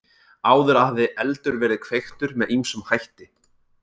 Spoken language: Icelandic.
Áður hafði eldur verið kveiktur með ýmsum hætti.